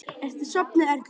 Ertu sofnuð, Erla?